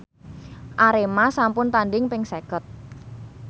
Arema sampun tandhing ping seket